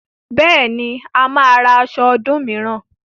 Bẹ́ẹ̀ni, a máa ra aṣọ ọdún mìíràn